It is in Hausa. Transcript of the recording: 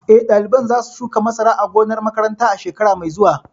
Eh, ɗaliban za su shuka masara a gonar makaranta shekara mai zuwa